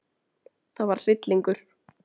Það var hryllingur.